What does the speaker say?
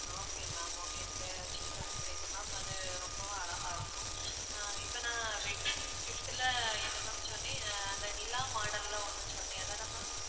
okay ma'am okay நீங்க சொல்லறது புரியுது ma'am அது ரொம்பவும் அழகா இருக்கும் அஹ் இப்ப நான் wedding gift ல என்ன ma'am சொன்னேன் அஹ் அந்த நிலா model ல ஒண்ணு சொன்னேன் அதான ma'am